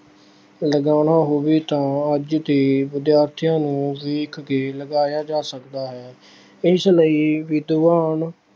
ਲਗਾਉਣਾ ਹੋਵੇ ਤਾਂ ਅੱਜ ਦੇ ਵਿਦਿਆਰਥੀਆਂ ਨੂੰ ਦੇਖ ਕੇ ਲਗਾਇਆ ਜਾ ਸਕਦਾ ਹੈ ਇਸ ਲਈ ਵਿਦਵਾਨ।